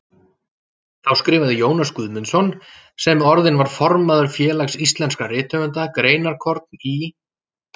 Þá skrifaði Jónas Guðmundsson, sem orðinn var formaður Félags íslenskra rithöfunda, greinarkorn í